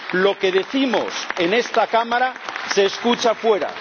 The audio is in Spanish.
Lo que decimos en esta Cámara se escucha fuera.